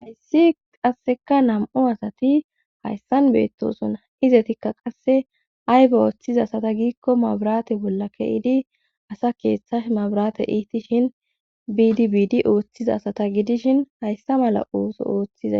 hayssi qasseka nam7u asati hayssan beettosonna izetikka qasse ayba ooththiza asata giikko maburate bolla ke7idi asa keeththash mabrate iiti shin biidibiidi ooththiza asata gidishin hayssa mala ooso ooththiza